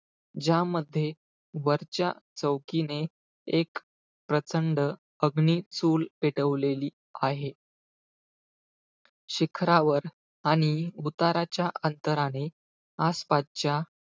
ज्यामध्ये वरच्या चौकीने एक प्रचंड अग्नी चूल पेटवलेली आहे. शिखरावर आणि उताराच्या अंतराने आसपासच्या,